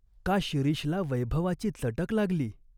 का शिरीषला वैभवाची चटक लागली ?